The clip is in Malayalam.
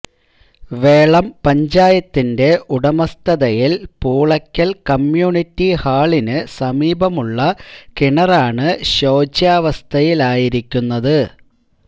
വേളം പഞ്ചായത്തിന്റെ ഉടമസ്ഥതയിൽ പൂളക്കൂൽ കമ്മ്യൂണിറ്റി ഹാളിന് സമീപമുള്ള കിണറാണ് ശോച്യാവസ്ഥയിലായിരിക്കുന്നത്